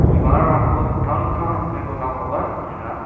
bibalrangko dingtang dingtang dake donakoba nikenga.